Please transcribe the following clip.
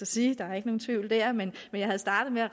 sige der er ikke nogen tvivl der men jeg havde startet med at